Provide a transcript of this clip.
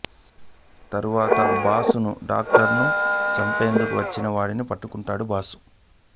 తరువాత బాసును డాక్టరును చంపేందుకు వచ్చిన వాడిని పట్టుకొంటాడు బాసు